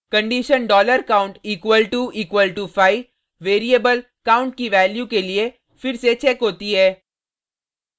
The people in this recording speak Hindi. condition $count equal to equal to 5 variable count की वैल्यू के लिए फिर से चेक होती है